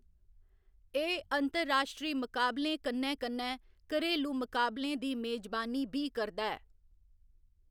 एह्‌‌ अंतर्राश्ट्री मुकाबलें कन्नै कन्नै घरेलू मुकाबलें दी मेजबानी बी करदा ऐ।